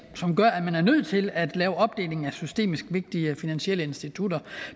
gør at man er nødt til at lave opdeling af systemisk vigtige finansielle institutter